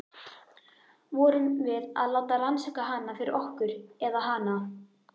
Vorum við að láta rannsaka hana fyrir okkur- eða hana?